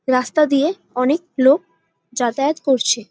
রাস্তা দিয়ে অনেক লোক যাতায়াত করছে।